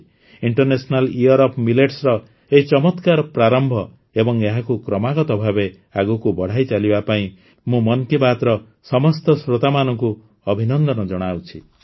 international year of ମିଲେଟ୍ସର ଏଭଳି ଚମକ୍ରାର ପ୍ରାରମ୍ଭ ଏବଂ ଏହାକୁ କ୍ରମାଗତ ଭାବେ ଆଗକୁ ବଢ଼ାଇ ଚାଲିବା ପାଇଁ ମୁଁ ମନ୍ କି ବାତ୍ର ସମସ୍ତ ଶ୍ରୋତାମାନଙ୍କୁ ଅଭିନନ୍ଦନ ଜଣାଉଛି